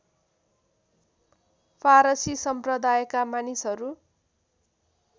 फारसी सम्प्रदायका मानिसहरू